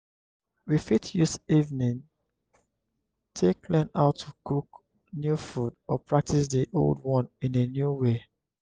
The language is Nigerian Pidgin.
we fit use evening take learn how to cook new food or practice di old one in a new way